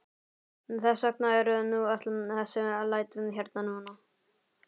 Þess vegna eru nú öll þessi læti hérna núna.